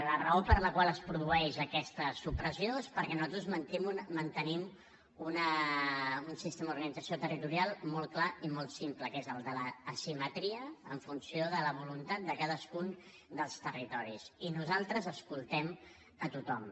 la raó per la qual es produeix aquesta supressió és perquè nosaltres mantenim un sistema d’organització territorial molt clar i molt simple que és el de l’asimetria en funció de la voluntat de cadascun dels territoris i nosaltres escoltem a tothom